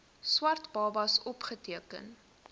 swart babas opgeteken